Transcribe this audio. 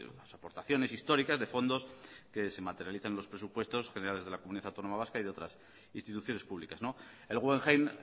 las aportaciones históricas de fondos que se materialicen los presupuestos generales de la comunidad autónoma vasca y de otras instituciones públicas el guggenheim